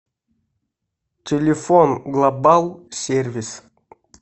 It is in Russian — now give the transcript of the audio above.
телефон глобал сервис